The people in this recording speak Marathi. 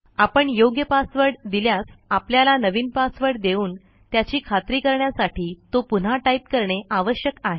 आपण योग्य पासवर्ड दिल्यास आपल्याला नवीन पासवर्ड देऊन त्याची खात्री करण्यासाठी तो पुन्हा टाईप करणे आवश्यक आहे